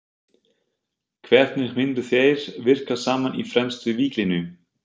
Hvernig myndu þeir virka saman í fremstu víglínu?